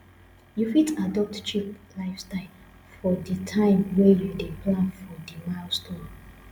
you fit adopt cheap lifestyle for di time wey you dey plan for di milestone